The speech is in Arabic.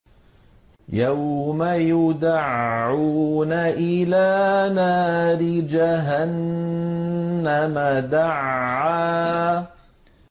يَوْمَ يُدَعُّونَ إِلَىٰ نَارِ جَهَنَّمَ دَعًّا